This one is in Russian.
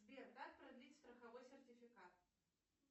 сбер как продлить страховой сертификат